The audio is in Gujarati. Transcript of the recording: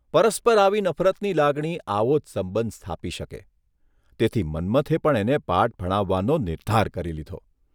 પરસ્પર આવી નફરતની લાગણી આવો જ સંબંધ સ્થાપી શકે તેથી મન્મથે પણ એને પાઠ ભણાવવાનો નિર્ધાર કરી લીધો.